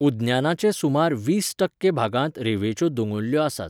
उद्यानाचे सुमार वीस ठक्के भागांत रेवेंच्यो दोंगुल्ल्यो आसात .